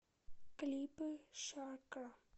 клипы шакра